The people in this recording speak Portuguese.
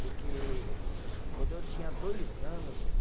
Porque quando eu tinha dois anos